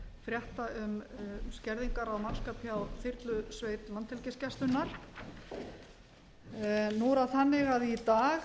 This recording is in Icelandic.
frétta um skerðingar á mannskap hjá þyrlusveit landhelgisgæslunnar nú er það þannig að í dag